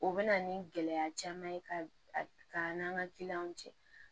O bɛ na ni gɛlɛya caman ye ka n'an ka kiliyanw cɛ